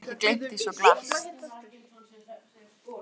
Get bara ekki gleymt því svo glatt.